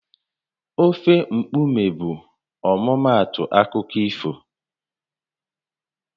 Ofe mkpume bụ ọmụmaatụ akụkọ ifo